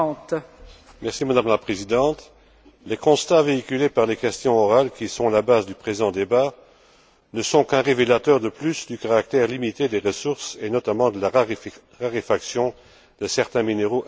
Madame la Présidente, les constats véhiculés par les questions orales qui sont à la base du présent débat ne sont qu'un révélateur de plus du caractère limité des ressources, et notamment de la raréfaction de certains minéraux indispensables.